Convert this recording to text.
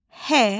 H.